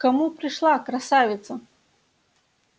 к кому пришла красавица